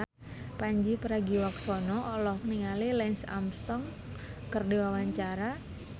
Pandji Pragiwaksono olohok ningali Lance Armstrong keur diwawancara